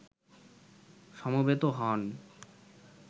সমবেত হন